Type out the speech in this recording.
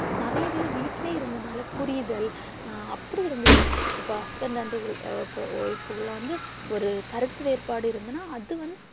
நிறைய பேரு வீட்டிலே இருந்ததால புரிதல் அப்பிடி இருந்துச்சு இப்ப husband and wife ல உள்ள வந்து ஒரு கருத்து வேறுபாடு இருந்துன்னா அது வந்து